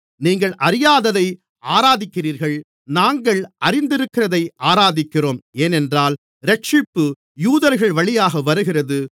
நீங்கள் அறியாததை ஆராதிக்கிறீர்கள் நாங்கள் அறிந்திருக்கிறதை ஆராதிக்கிறோம் ஏனென்றால் இரட்சிப்பு யூதர்கள்வழியாக வருகிறது